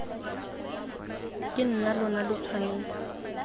ke nna lona lo tshwanetse